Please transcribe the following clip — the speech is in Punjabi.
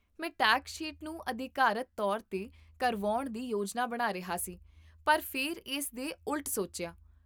ਮੈਂ ਟੈਕਸ ਸ਼ੀਟ ਨੂੰ ਅਧਿਕਾਰਤ ਤੌਰ 'ਤੇ ਕਰਵਾਉਣ ਦੀ ਯੋਜਨਾ ਬਣਾ ਰਿਹਾ ਸੀ, ਪਰ ਫਿਰ ਇਸ ਦੇ ਉਲਟ ਸੋਚਿਆ